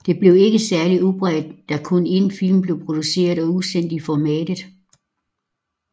Det blev ikke særligt udbredt da kun én film blev produceret og udsendt i formatet